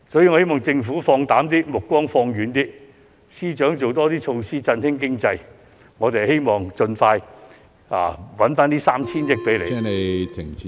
我希望政府放膽一點，目光放遠一點，亦希望司長可以推行更多措施振興經濟，讓我們盡快為政府賺回該 3,000 億元......